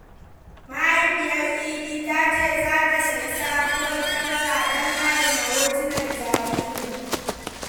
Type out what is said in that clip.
Mahaifiyar Idi ta ce za ta sayi sabuwar kyamara don adana hotunan jaririnta.